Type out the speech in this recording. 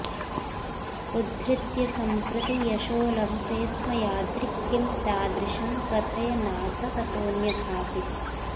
उद्धृत्य सम्प्रति यशो लभसे स्म यादृक् किं तादृशं कथय नाथ ततोऽन्यथाऽपि